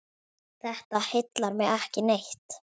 Þetta heillar mig ekki neitt.